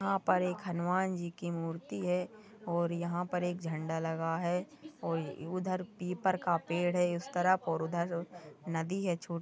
यहाँ पर एक हनुमान जी की मूर्ति है और यहाँ पर एक झंडा लगा है और उधर पीपल का पेड़ है इस तरफ और उधर नदी है।